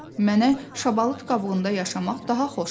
Mənə şabalıt qabığında yaşamaq daha xoşdur.